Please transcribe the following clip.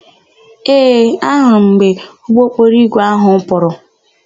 Ee, ahụrụ m mgbe ụgbọokporoigwe áhụ̀ pụrụ.